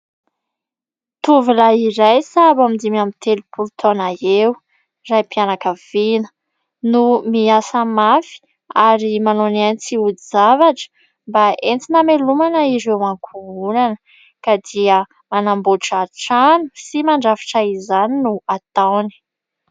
Tovolahy iray sahabo eo amin'ny dimy amby telopolo taona eo, raim-pianakaviana no miasa mafy, ary manao ny ainy tsy ho zavatra mba entina hamelomana ireo ankohonana; ka dia manamboatra trano sy mandrafitra izany no ataony.